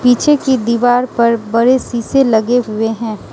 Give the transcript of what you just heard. पीछे की दीवार पर बड़े शीशे लगे हुए हैं।